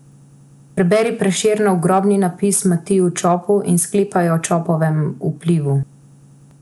Preberi Prešernov Grobni napis Matiju Čopu in sklepaj o Čopovem vplivu.